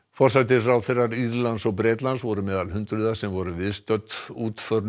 forsætisráðherrar Írlands og Bretlands voru meðal hundruða sem voru viðstödd útför